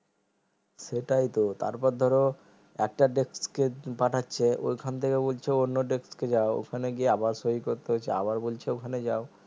সেটাইতো তারপর ধর একটা desk কে পাঠাচ্ছে ঐখান থেকে বলছে অন্য desk এ যায় ওখানে গিয়ে আবার সহি করতে হচ্ছে আবার বলছে ওখানে যায়